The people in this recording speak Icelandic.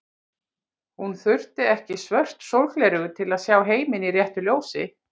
Hún þurfti ekki svört sólgleraugu til að sjá heiminn í réttu ljósi.